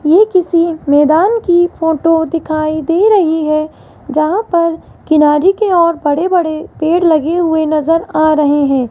ये किसी मैदान की फोटो दिखाई दे रही है जहां पर किनारे के ओर बड़े बड़े पेड़ लगे हुए नजर आ रहे है।